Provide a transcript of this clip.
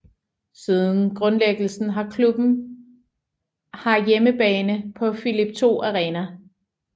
Siden grundlæggelsen har klubben har hjemmebane på Philip II Arena